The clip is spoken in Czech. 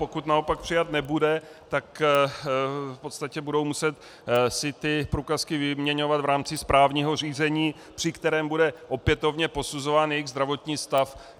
Pokud naopak přijat nebude, tak v podstatě budou muset si ty průkazky vyměňovat v rámci správního řízení, při kterém bude opětovně posuzován jejich zdravotní stav.